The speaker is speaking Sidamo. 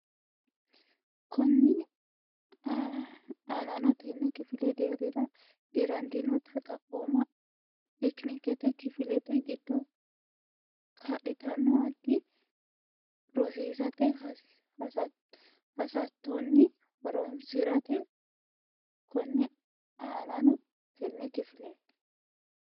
Konni aanano tenne kifile deerrira dirantinota xaphooma tekinikka kifilete giddo kaa litannota addi rosiisate hasattonni horonsi ratto Konni aanano tenne kifile.